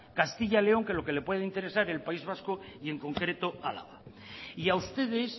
castilla y león que lo que le puede interesar el país vasco y en concreto álava y a ustedes